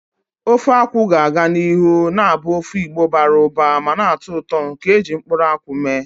Ofe akwu ga-aga n'ihu na-abụ ofe Igbo bara ụba ma na-atọ ụtọ nke e ji mkpụrụ nkwụ mee.